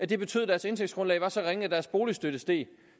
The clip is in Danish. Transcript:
det betød at deres indtægtsgrundlag var så ringe at deres boligstøtte steg